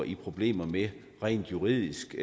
i problemer med rent juridisk